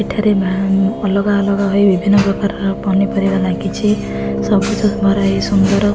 ଏଠାରେ ଭା ଅଲଗା ଅଲଗା ହୋଇ ବିଭିନ୍ନ ପ୍ରକାରର ପନିପରିବା ଲିଗିଚି ସବୁଜ ଭରା ଏଇ ସୁନ୍ଦର --